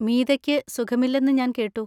മീതയ്ക്ക് സുഖമില്ലെന്ന് ഞാൻ കേട്ടു.